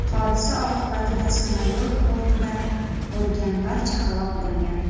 Hodisa oqibatida samolyot bortida bo‘lgan barcha halok bo‘lgan.